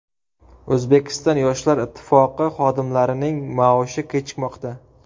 O‘zbekiston Yoshlar Ittifoqi xodimlarining maoshi kechikmoqda.